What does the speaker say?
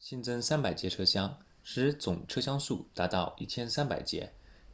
新增300节车厢使总车厢数达到1300节